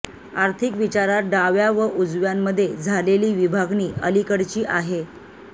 आर्थिक विचारात डाव्या व उजव्यांमध्ये झालेली विभागणी अलीकडची आहे